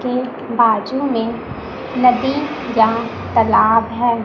के बाजू में नदी या तलाब है।